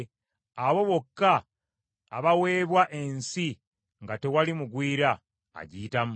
abo bokka abaweebwa ensi nga tewali mugwira agiyitamu.